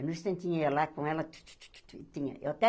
Eu lá com ela, tu tu tu tu tu tinha.